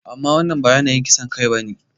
Amma wannan ba yanayin kisan kai ba ne.